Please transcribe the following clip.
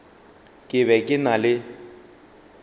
ke be ke na le